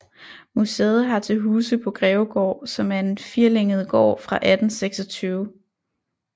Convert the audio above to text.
Museet har til huse på Grevegaard som er en firlænget gård fra 1826